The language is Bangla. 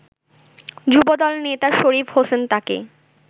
যুবদল নেতা শরীফ হোসেন তাকে